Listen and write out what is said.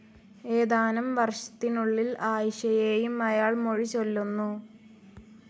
ഏതാനം വർഷത്തിനുള്ളിൽ ആയിഷയേയും അയാൾ മൊഴിചൊല്ലുന്നു.